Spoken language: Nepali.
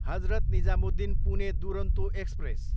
हजरत निजामुद्दिन, पुने दुरोन्तो एक्सप्रेस